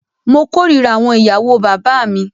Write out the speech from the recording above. Mó kòrira àwọn ìyàwó bàbá mí.